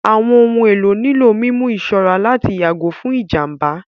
Àwọn ohun èlò nílò mímú ìṣọ́ra láti yàgò fún ìjàmbá